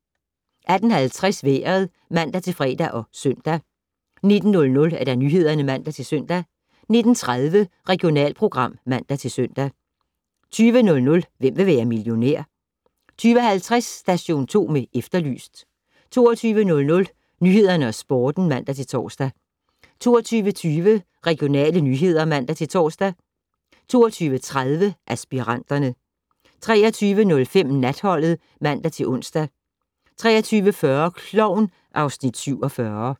18:50: Vejret (man-fre og -søn) 19:00: Nyhederne (man-søn) 19:30: Regionalprogram (man-søn) 20:00: Hvem vil være millionær? 20:50: Station 2 med Efterlyst 22:00: Nyhederne og Sporten (man-tor) 22:20: Regionale nyheder (man-tor) 22:30: Aspiranterne 23:05: Natholdet (man-ons) 23:40: Klovn (Afs. 47)